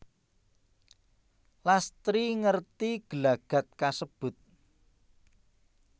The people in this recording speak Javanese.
Lastri ngerti gelagat kasebut